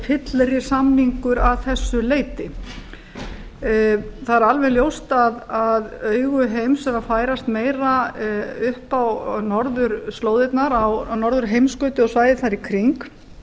fyllri samningur að þessu leyti það er alveg ljóst að augu heims eru að færast meira upp á norðurslóðirnar á norðurheimskautið og svæðið þar í kring